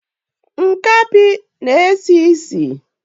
Nkapi na esi esi